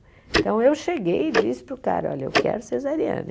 Então, eu cheguei e disse para o cara, olha, eu quero cesariana.